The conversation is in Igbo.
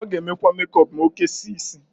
Ọ g'emekwa mekọp m'okesie isi.